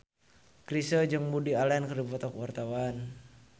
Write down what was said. Chrisye jeung Woody Allen keur dipoto ku wartawan